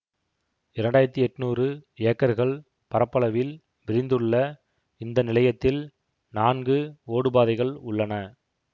இரண்டாயிரத்தி எட்ணூறு ஏக்கர்கள் பரப்பளவில் விரிந்துள்ள இந்த நிலையத்தில் நான்கு ஓடுபாதைகள் உள்ளன